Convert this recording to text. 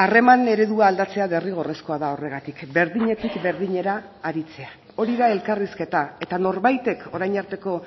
harreman eredua aldatzea derrigorrezkoa da horregatik berdinetik berdinera aritzea hori da elkarrizketa eta norbaitek orain arteko